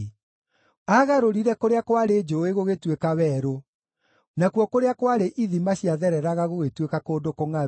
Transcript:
Aagarũrire kũrĩa kwarĩ njũũĩ gũgĩtuĩka werũ, nakuo kũrĩa kwarĩ ithima ciathereraga gũgĩtuĩka kũndũ kũngʼaru,